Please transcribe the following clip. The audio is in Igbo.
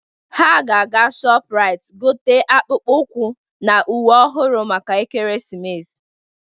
Ha ga-aga Shọpụraịt gote akpụkpọ ụkwụ na uwe ọhụrụ maka Ekeresimesi.